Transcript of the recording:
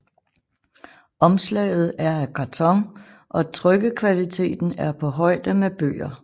Omslaget er af karton og trykkekvaliteten er på højde med bøger